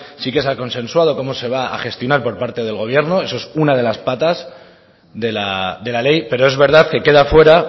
sí que se ha consensuado cómo se va a gestionar por parte del gobierno eso es una de las patas de la ley pero es verdad que queda fuera